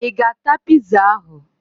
Ị ga-ata piza ahụ!